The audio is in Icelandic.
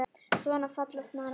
Svona falla sannar hetjur.